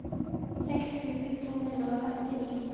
seks tusen to hundre og femtini